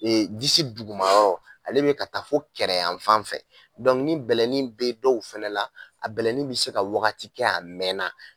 Ee disi dugumayɔrɔ, ale bɛ ka taa fo kɛrɛ yan fan fɛ, bɛlɛnin bɛ dɔw fana la , a bɛlɛnin bɛ se ka wagati kɛ a mɛnna.